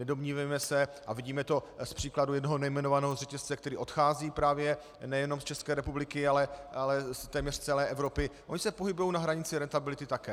Nedomnívejme se - a vidíme to z příkladu jednoho nejmenovaného řetězce, který odchází právě nejenom z České republiky, ale téměř z celé Evropy, ony se pohybují na hranici rentability také.